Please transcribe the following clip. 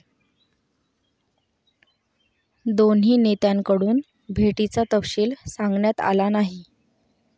दोन्ही नेत्यांकडून भेटीचा तपशील सांगण्यात आला नाही.